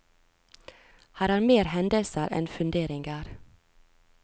Her er mer hendelser enn funderinger.